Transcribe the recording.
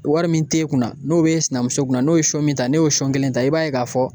Wari min t'e kunna n'o b'e sinamuso kunna n'o ye sɔn min ta ne y'o sɔn kelen ta i b'a ye k'a fɔ